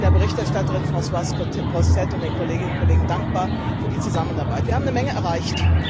Ich bin der Berichterstatterin Françoise Grossetête und den Kolleginnen und Kollegen dankbar für die Zusammenarbeit. Wir haben eine Menge erreicht.